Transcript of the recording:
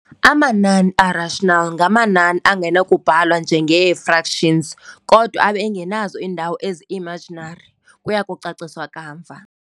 Amanani a-rational ngamanani angenakubhalwa njenee-fractions, kodwa abe engenazo iindawo ezi-imaginary, kuyakucaciswa kamva.